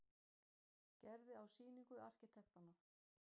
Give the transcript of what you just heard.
Gerði á sýningu arkitektanna.